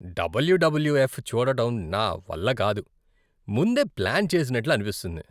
WWF చూడటం నా వల్ల కాదు. ముందే ప్లాన్ చేసినట్లు అనిపిస్తుంది.